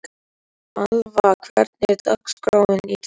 Alva, hvernig er dagskráin í dag?